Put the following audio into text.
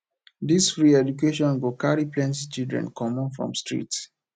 dis free education go carry plenty children comot from street